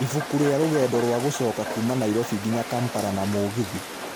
ibũkũ rĩa rũgendo rwa gũcoka kuuma Nairobi nginya Kampala na mũgithi